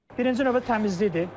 Birinci növbədə təmizlikdir.